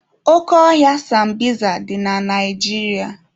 Oke ọhịa sambisa dị na Naijiria.